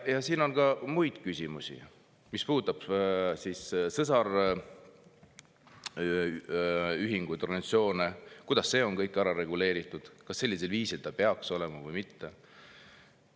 Ja siin on ka muid küsimusi, mis puudutavad sõsarühinguid, ‑organisatsioone – kuidas see kõik on ära reguleeritud, kas ta sellisel viisil peaks olema või mitte.